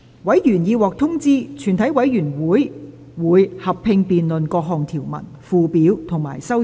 委員已獲通知，全體委員會會合併辯論各項條文、附表及修正案。